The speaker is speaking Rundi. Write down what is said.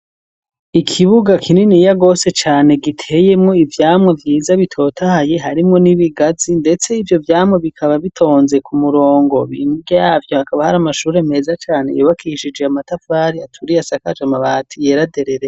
ikibuga kinini yagose cane giteyemwo ivyamwa vyiza bitotahaye harimwo n'ibigazi ndetse ivyo vyamwa bikaba bitonze ku murongo bimbwe yabyo akaba hari amashuri meza cane yobakishije amatavari aturiye asakaje amabati yera derere.